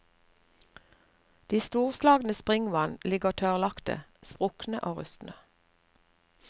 De storslagne springvann ligger tørrlagte, sprukne og rustne.